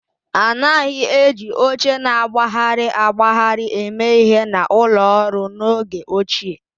A naghị eji oche na-agbagharị agbagharị eme ihe na ụlọ ọrụ n'oge ochie